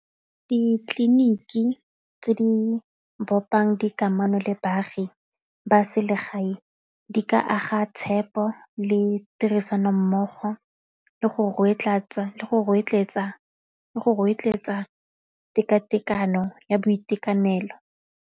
Ditleliniki tse di bopang di kamano le baagi ba selegae di ka aga tshepo le tirisanommogo tekatekano ya boitekanelo.